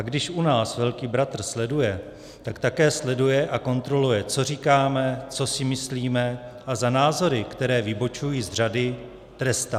A když už nás velký bratr sleduje, tak také sleduje a kontroluje, co říkáme, co si myslíme, a za názory, které vybočují z řady, trestá.